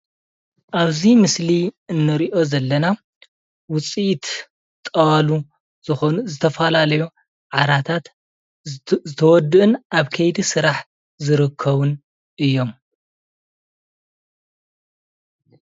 ኣብዚ ምስሊ እንሪኦ ዘለና ውፅኢት ጣዋሉ ዝኾኑ ዝተፈላለዩ ዓራታት ዝተወዱኡን ኣብ ከይዲ ስራሕ ዝርከቡን እዮም፡፡